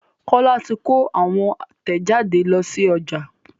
Kola tí kò àwọn tẹjade ló sí ọjà